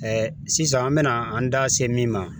sisan an bɛna an da se min ma .